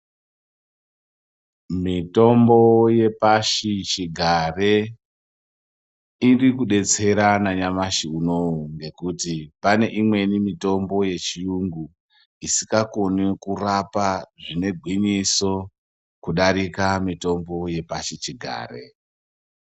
Mitombo yepashi chigare irikudetsera nanyamashi uno ngokuti paneimweni mitombo yechiyungu isikakoni kurapa zvine gwinyiso kudarika mitombo yepashi chigare.